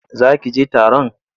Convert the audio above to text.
Za ki je taron?